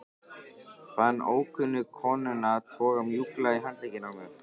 Fann ókunnu konuna toga mjúklega í handlegginn á mér